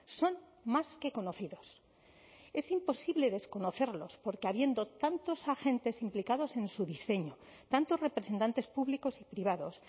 son más que conocidos es imposible desconocerlos porque habiendo tantos agentes implicados en su diseño tantos representantes públicos y privados